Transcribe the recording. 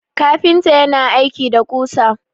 kafinta yana aiki da kusa